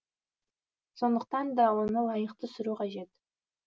сонықтан да оны лайықты сүру қажет